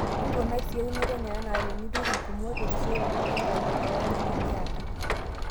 Nkunai sii eunoto enye anaa teniturr ingumot terisioroto enkabila oornyanya niaata.